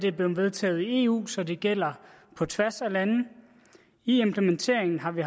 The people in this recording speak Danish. er blevet vedtaget i eu så det gælder på tværs af lande i implementeringen har vi